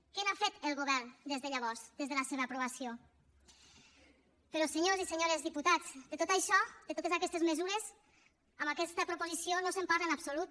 què n’ha fet el govern des de llavors des de la seva aprovació però senyors i senyores diputats de tot això de totes aquestes mesures en aquesta proposició no se’n parla en absolut